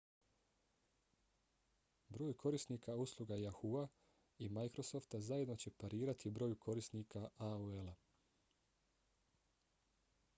broj korisnika usluga yahoo!-a i microsofta zajedno će parirati broju korisnika aol-a